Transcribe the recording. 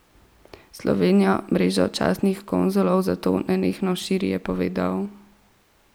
Slovenija mrežo častnih konzulov zato nenehno širi, je povedal.